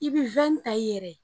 I bi ta i yɛrɛ ye.